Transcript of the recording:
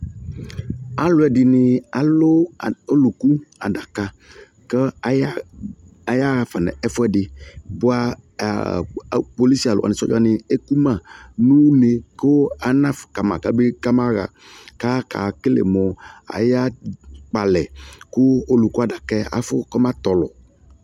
Alu ɛdini alu olukʊ adaka ku ayafa ɛfʊɛdi bʊa polisi aluwa ekuma nu one anafʊ kama kamaɣa akekele mʊ akpɔ alɛ kʊ olɔkʊ adaka yɛ afɔtɔlɔ